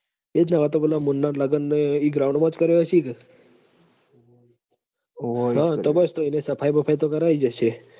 એ જ અવ તો પેલા મુન્ના ન લગન ન એ ઈ ground મ જ કર્યા અશી ક હમ તો બસ તો એને સફાઈ બફાઈ તો કરાઈ જ હશે